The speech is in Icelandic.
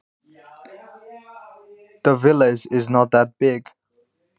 Þorpið er ekki svo stórt.